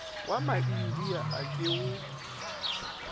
wa maindia a ke wo